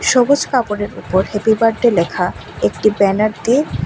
সবুস কাপড়ের ওপর happy birthday লেখা একটি ব্যানার দি--